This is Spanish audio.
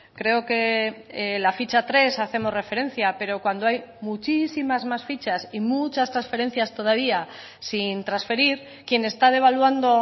creo que la ficha tres hacemos referencia pero cuando hay muchísimas más fichas y muchas transferencias todavía sin transferir quien está devaluando